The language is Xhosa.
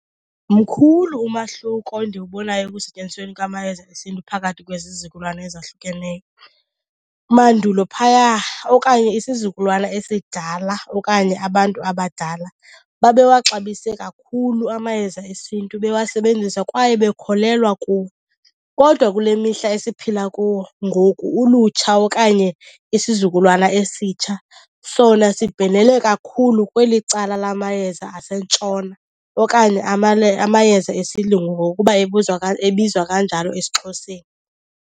Mkhulu umahluko endiwubonayo ekusetyenzisweni kwamayeza esiNtu phakathi kwezizukulwana ezahlukeneyo. Mandulo phaya okanye isizukulwana esidala okanye abantu abadala babewaxabise kakhulu amayeza esiNtu bewasebenzisa kwaye bekholelwa kuwo. Kodwa kule mihla esiphila kuwo ngoku ulutsha okanye isizukulwana esitsha sona sibhenele kakhulu kweli cala lamayeza aseNtshona okanye amayeza esilungu ngokuba ebizwa kanjalo esiXhoseni.